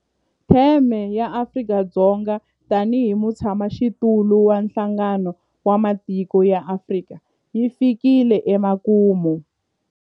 Theme ya Afrika-Dzonga tanihi mutshamaxitulu wa Nhlangano wa Matiko ya Afrika yi fikile emakumu.